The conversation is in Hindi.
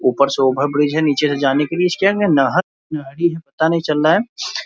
ऊपर से ओवर ब्रिज है। नीचे से जाने के लिए इसके अंदर नाव गाड़ी है पता नही चल रहा है।